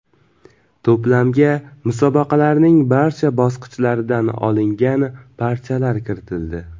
To‘plamga musobaqalarning barcha bosqichlaridan olingan parchalar kiritildi.